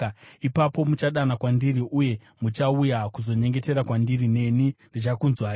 Ipapo muchadana kwandiri uye muchauya kuzonyengetera kwandiri, neni ndichakunzwai.